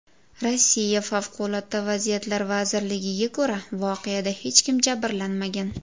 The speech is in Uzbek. Rossiya Favqulodda vaziyatlar vazirligiga ko‘ra, voqeada hech kim jabrlanmagan.